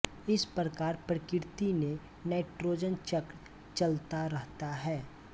इस प्रकार प्रकृति में नाइट्रोजन चक्र चलता रहता है